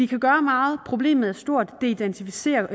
kan gøre meget problemet er stort og det identificerer